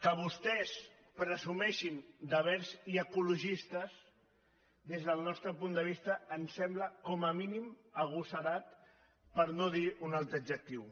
que vostès presu·meixin de verds i ecologistes des del nostre punt de vista ens sembla com a mínim agosarat per no dir un altre adjectiu